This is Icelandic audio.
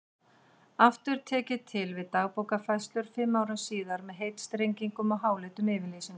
Aftur tek ég til við Dagbókarfærslur fimm árum síðar með heitstrengingum og háleitum yfirlýsingum.